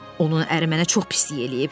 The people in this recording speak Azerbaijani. Onun əri mənə çox pislik eləyib.